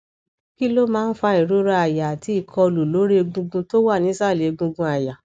kí ló máa ń fa ìrora àyà àti ìkọlu lor egungun tó wà nísàlẹ egungun aya